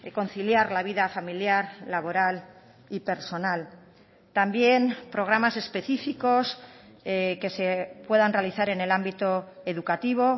conciliar la vida familiar laboral y personal también programas específicos que se puedan realizar en el ámbito educativo